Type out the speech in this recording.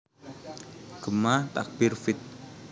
Gema Takbir feat